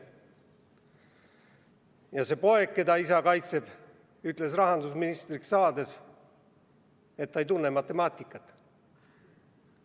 Ja see poeg, keda isa kaitseb, ütles rahandusministriks saades, et ta ei tunne matemaatikat.